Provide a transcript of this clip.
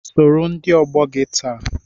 Sọrọ ndị ọgbọ gị taa!